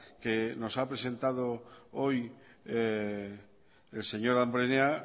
que nos ha presentado hoy el señor damborenea